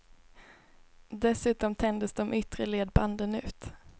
Dessutom tänjdes de yttre ledbanden ut.